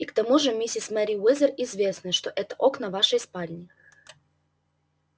и к тому же миссис мерриуэзер известно что это окна вашей спальни